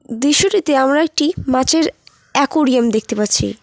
দৃশ্যটিতে আমরা একটি মাছের একুরিয়াম দেখতে পাচ্ছি।